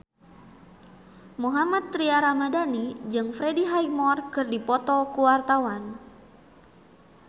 Mohammad Tria Ramadhani jeung Freddie Highmore keur dipoto ku wartawan